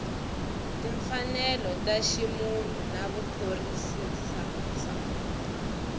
timfanelo ta ximunhu na vuphorisasa